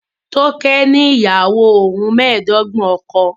Toke ni iyawo ohun meedogbon ọkọ